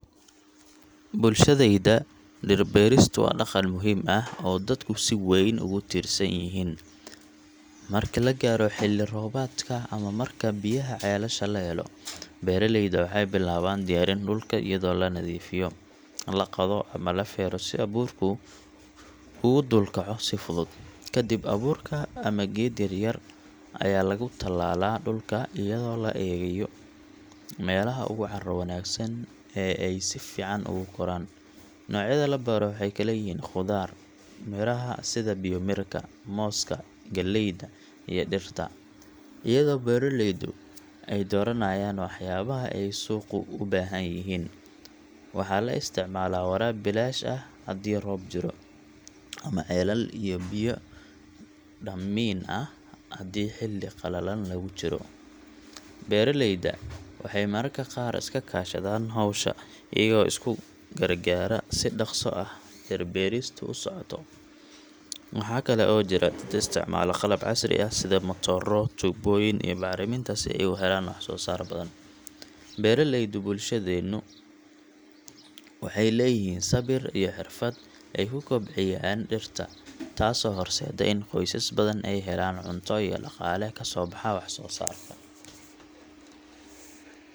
Bulshadayda dhir-beeristu waa dhaqan muhiim ah oo dadku si weyn ugu tiirsan yihiin. Marka la gaaro xilli roobaadka ama marka biyaha ceelasha la helo, beeraleyda waxay bilaabaan diyaarin dhulka iyadoo la nadiifiyo, la qodo ama la feero si abuurku ugu dul kaco si fudud. Kadib, abuurka ama geed yar-yar ayaa lagu tallaalaa dhulka iyadoo la eegayo meelaha ugu carro wanaagsan ee ay si fiican ugu koraan. Noocyada la beero waxay kala yihiin khudaar, miraha sida biyomirka, mooska, galleyda, iyo dhirta, iyadoo beeraleydu ay dooranayaan waxyaabaha ay suuqu u baahan yahay. Waxaa la isticmaalaa waraab bilaash ah haddii roob jiro, ama ceelal iyo biyo dhaamiin ah haddii xilli qallalan lagu jiro. Beeraleyda waxay mararka qaar iska kaashadaan hawsha, iyagoo isku gargaara si dhaqso ah dhir-beeristu u socoto. Waxaa kale oo jira dad isticmaala qalab casri ah sida matooro, tuubbooyin iyo bacriminta si ay u helaan wax-soosaar , beeraleydu bulshadeennu waxay leeyihiin sabir iyo xirfad ay ku kobciyaan dhirta, taasoo horseedda in qoysas badan ay helaan cunto iyo dhaqaale ka soo baxa wax-soosaarka.